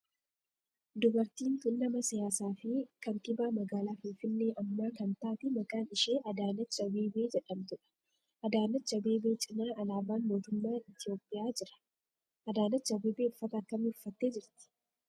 Dubartiin tun nama siyaasaa fi kantiibaa magaalaa finfinnee ammaa kan taate maqaan ishee Adaanech Abeebee jedhamtu dha. Adaanech Abeebee cinaa alaabaan mootummaa Itiyoophiyaa jira. Adaanech Abeebee uffata akkamii uffatte jirti?